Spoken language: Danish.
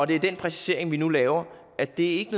den præcisering vi nu laver er at det ikke